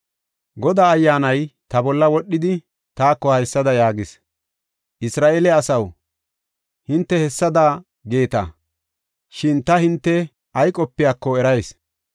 Godaa Ayyaanay ta bolla wodhidi, taako haysada yaagis: “Isra7eele asaw, hinte hessada geeta; shin ta hinte ay qopiyako erayis.